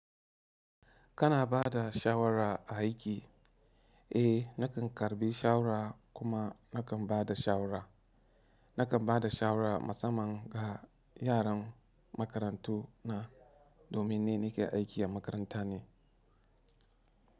Kana ba da shawara a aiki? Eh, nakan karɓi shawara kuma nakan ba da shawara. Nakan ba da shawara musamman ga yaran makarantu na domin ni nake aiki a makaranta ne.